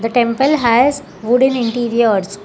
The temple has wooden interiors.